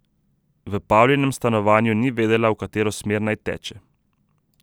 V Pavlinem stanovanju ni vedela, v katero smer naj teče.